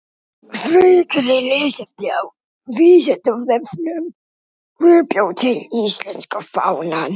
Frekara lesefni á Vísindavefnum: Hver bjó til íslenska fánann?